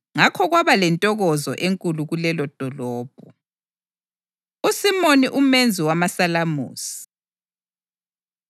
Ngakho kwaba lentokozo enkulu kulelodolobho. USimoni Umenzi Wamasalamusi